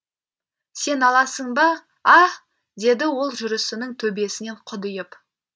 сен аласың ба аһ деді ол жүрісіннің төбесінен құдиып